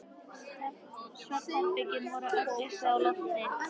Svefnherbergin voru öll uppi á lofti.